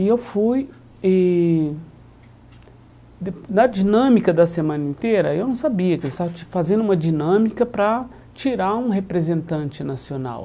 E eu fui... E Na dinâmica da semana inteira, eu não sabia que eles estavam fazendo uma dinâmica para tirar um representante nacional.